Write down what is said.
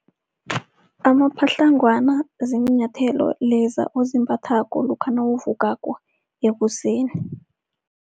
Amapatlagwana ziinyathelo leza ozimbathako lokha nawuvukako ekuseni.